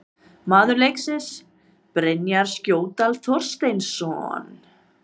Maður leiksins: Brynjar Skjóldal Þorsteinsson